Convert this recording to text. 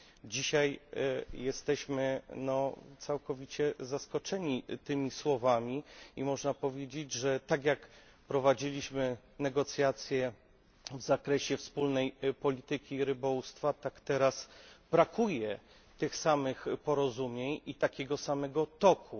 Dzisiaj jesteśmy całkowicie zaskoczeni tymi słowami i można powiedzieć, że tak jak prowadziliśmy negocjacje w zakresie wspólnej polityki rybołówstwa, tak teraz brakuje tych samych porozumień i takiego samego toku.